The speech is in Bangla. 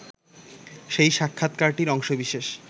সেই সাক্ষাৎকারটির অংশবিশেষ